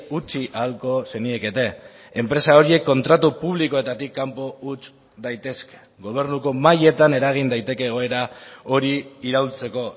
utzi ahalko zeniekete enpresa horiek kontratu publikoetatik kanpo huts daitezke gobernuko mailetan eragin daiteke egoera hori iraultzeko